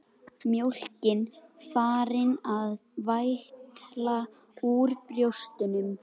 Mjólkin farin að vætla úr brjóstunum.